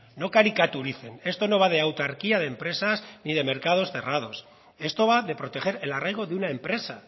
no caricaturicen esto no va de autarquía de empresas ni de mercados cerrados esto va de proteger el arraigo de una empresa